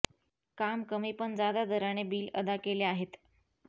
काम कमी पण जादा दराने बील अदा केले आहेत